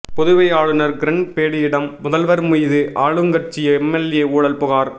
புதுவை ஆளுநா் கிரண் பேடியிடம் முதல்வா் மீது ஆளுங்கட்சி எம்எல்ஏ ஊழல் புகாா்